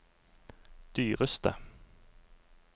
dyreste